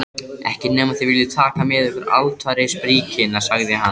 Ekki nema þið viljið taka með ykkur altarisbríkina, sagði hann.